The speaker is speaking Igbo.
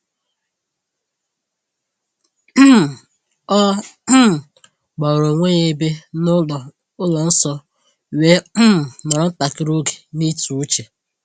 um O um gbara onwe ya ebe n’ụlọ ụlọ nsọ, wee um nọrọ ntakịrị oge n’ịtụ uche.